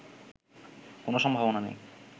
কোনো সম্ভাবনা নেই